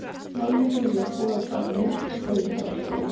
Já ég er til í að skoða hvað sem er ef ég fæ að spila.